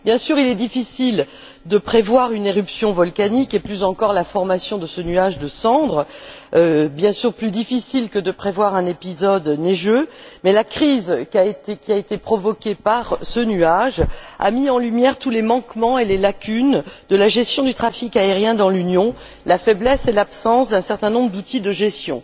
Bien sûr, il est difficile de prévoir une éruption volcanique et, plus encore, la formation de ce nuage de cendres bien sûr plus difficile que de prévoir un épisode neigeux mais la crise qui a été provoquée par ce nuage a mis en lumière tous les manquements et les lacunes de la gestion du trafic aérien dans l'Union, la faiblesse et l'absence d'un certain nombre d'outils de gestion.